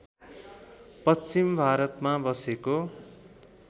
पश्चिम भारतमा बसेको